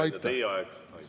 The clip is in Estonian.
Hea ettekandja, teie aeg!